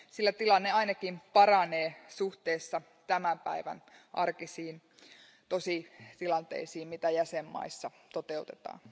Sillä tilanne ainakin paranee suhteessa tämän päivän arkisiin tositilanteisiin, joita jäsenmaissa toteutetaan.